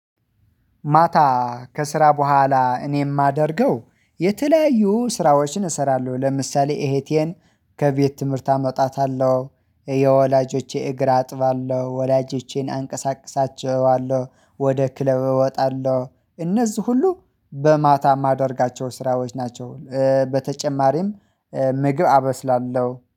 ማታ ከስራ በኋላ እኔ የማደርገው የተለያዩ ስራዎችን እሰራለሁ። ለምሳሌ እሄቴን ከቤት ትምህርት አመጣታለሁ የወላጆቼ እግር አጥባለሁ። ወላጆቼን አንቀሳቅሳቸዋለሁ ወደ ክለብ እወጣለሁ። እነዚህ ሁሉ በማታ የማደርጋቸው ስራዎች ናቸው። በተጨማሪም ምግብ አበስላለሁ